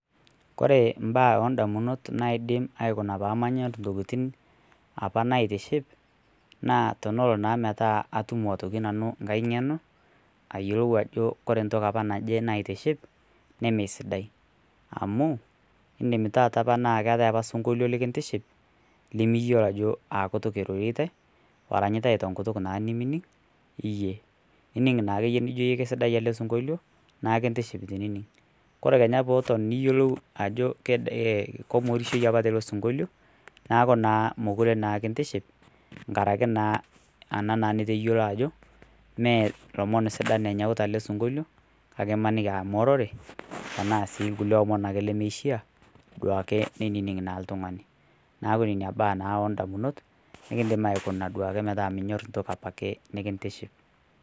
Koree mbaa endamunot naidim aikunaa pamanyaa ntokitin apaa naitiship naa teneloo naa metaa atumo nanuu ng'hai ng'enoo aiyelou ajoo kore apaa ntoki najee naitiship nemeisidai amuu indim taata apaa naa keatai sinkolio likintiship limiyolo ajoo aakutuk eirorietai eranyutai tenkutuk nimining' iyie ining naakeye nijoo keisidai alee sinkolio naa kintiship tinining' kore peeton niyelou ajoo kong'orishoi apaa teloo sinkolio naaku naa mokuree naa kintiship ngarakee naa anaa niteyoloo ajoo mee lomon sidan enyautaa alee sinkolio kakee imanikii aa mororee tanaa sii lkulie omon akee lemeishia duake neinining' naa ltung'ani naaku nenia baa naa endamunot nikindim aikunaa metaa minyor ntokii apakee nikintiship.